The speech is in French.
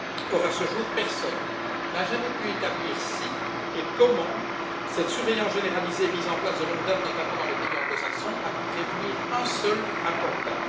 Or, à ce jour, personne n'a jamais pu établir si et comment cette surveillance généralisée mise en place de longue date, notamment dans les pays anglo saxons a pu prévenir un seul attentat.